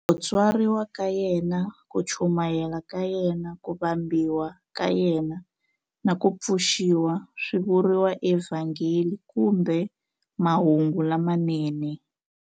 Ku tswariwa ka yena, ku chumayela ka yena, ku vambiwa ka yena, na ku pfuxiwa swi vuriwa eVhangeli kumbe Mahungu lamanene.